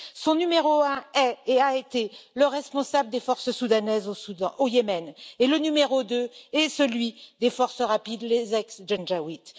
Son numéro un est et a été le responsable des forces soudanaises au Yémen, et le numéro deux est celui des Forces rapides, les ancien Janjawids.